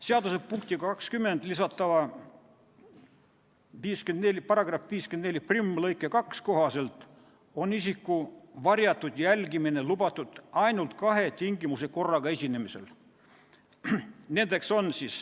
Seaduse punktiga 20 lisatava § 541 lõike 2 kohaselt on isiku varjatud jälgimine lubatud ainult kahe tingimuse korraga esinemisel.